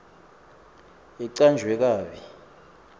icanjwe kabi